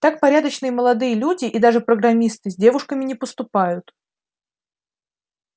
так порядочные молодые люди и даже программисты с девушками не поступают